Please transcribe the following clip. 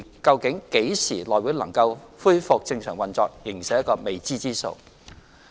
究竟內會何時能夠恢復正常運作，仍是一個未知之數。